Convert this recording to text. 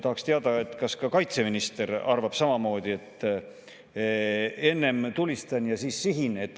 Tahaksin teada, kas ka kaitseminister arvab samamoodi, et enne tulistan ja siis sihin.